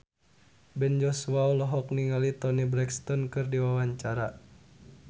Ben Joshua olohok ningali Toni Brexton keur diwawancara